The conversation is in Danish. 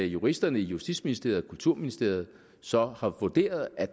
juristerne i justitsministeriet og kulturministeriet så har vurderet at